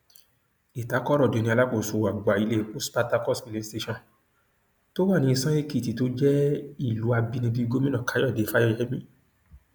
ìtàkọrọdé ni alákòóso àgbà iléepo spartakous filing station tó wà ní ìsànẹkìtì tó jẹ ìlú àbínibí gómìnà káyọdé fáyemí